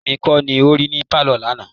Èmi kọ́ lo rí ní pálọ̀ lánàá.